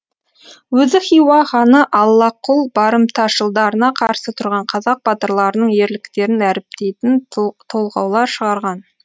өзі хиуа ханы аллақұл барымташылдарына қарсы тұрған қазақ батырларының ерліктерін дәріптейтін толғаулар шығарған